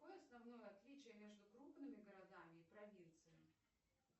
какое основное отличие между крупными городами и провинцией